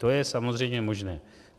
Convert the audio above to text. To je samozřejmě možné.